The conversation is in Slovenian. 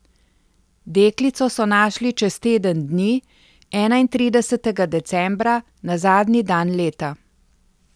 Deklico so našli čez teden dni, enaintridesetega decembra, na zadnji dan leta.